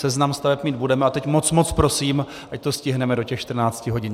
Seznam staveb mít budeme a teď moc, moc prosím, ať to stihneme do těch 14 hodin.